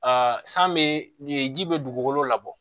san bɛ nin ji bɛ dugukolo labɔ